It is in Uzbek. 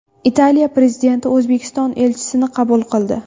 Italiya prezidenti O‘zbekiston elchisini qabul qildi.